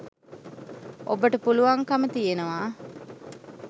ඔබට පුළුවන්කම තියෙනවා